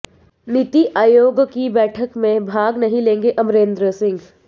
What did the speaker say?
नीति आयोग की बैठक में भाग नहीं लेंगे अमरेंद्र सिंह